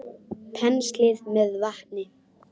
Penslið með vatni.